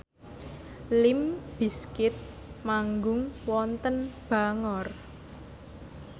limp bizkit manggung wonten Bangor